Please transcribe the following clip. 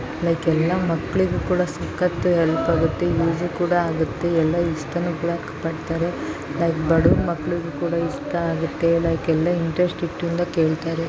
Like ಎಲ್ಲ ಮಕ್ಕಳಿಗೂ ಕೂಡ ಸಕತ್ ಹೆಲ್ಪ್ ಆಗುತ್ತೆ ಎಲ್ಲರು ಇಷ್ಟ ಕೂಡ ಪಡ್ತಾರೆ ಲೈಕ್ ಬಡೂರ ಮಕಳಿಗೂ ಕೂಡ ಇಷ್ಟ ಆಗುತ್ತೆ ಲೈಕ್ ಎಲ್ಲ ಇಂಟರೆಸ್ಟ್ ಇಂದ ಕೇಳತಾರೆ .